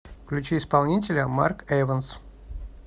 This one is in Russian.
включи исполнителя марк эванс